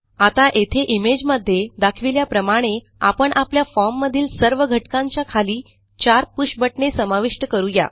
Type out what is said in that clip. आता येथे इमेज मध्ये दाखविल्याप्रमाणे आपण आपल्या फॉर्म मधील सर्व घटकांच्या खाली चार पुष बटणे समाविष्ट करू या